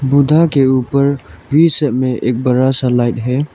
बुद्धा के ऊपर बीच में एक बड़ा सा लाइट है।